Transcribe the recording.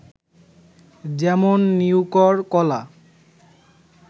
যেমন- নিউকর, কলা